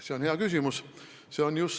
See on hea küsimus.